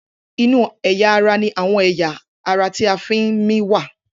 Inú àyà ní àwọn ẹ̀yà ara ti a fí ń mí wá.